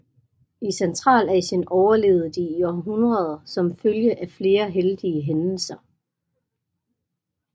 I Centralasien overlevede de i århundreder som en følge af flere heldige hændelser